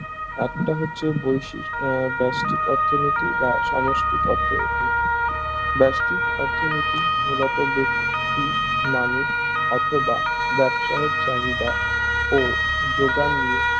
একটি হচ্ছে বৈশিষ্ট আহ বেস্টিক অর্থনীতি বা সমষ্টিক অর্থনীতি বেস্টিক অর্থনীতি মূলত বেক্তিক মানুষ অথবা বাবসাহেদ চাহিদা ও যোগান নিয়ে